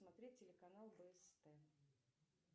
смотреть телеканал бст